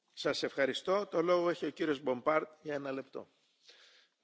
Monsieur le Président, Madame la Commissaire, laissez moi vous raconter une histoire.